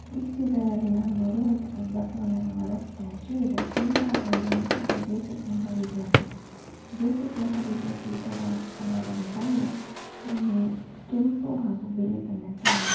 ಈ ಚಿತ್ರದಲ್ಲಿ ನಾವು ನೋಡುವಂತಹದ್ದು ಬಸವಣ್ಣನವರ ಸ್ಟ್ಯಾಚು ಇದರ ಹಿಂಭಾಗ ಇರುವಂತಹದ್ದು ಜೆ_ಎಸ್_ಎಸ್ ಮಹಾವೇದಿಯ ಪೀಠ ಜೆ_ಎಸ್_ಎಸ್ ಮಹಾವೇದಿಯ ಪೀಠದ ಅದರ ಬಣ್ಣ ಹ್ಮ್ ಕೆಂಪು ಹಾಗು ಬಿಳಿ ಬಣ್ಣದಾಗಿದೆ.